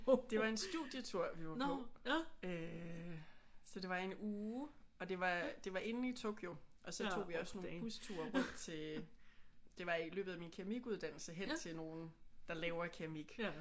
Det var en studietur vi var på øh så det var en uge og det var det var inde i Tokyo og så tog vi også nogle busture rundt til. Det var i løbet af min keramikuddannelse hen til nogen der laver keramik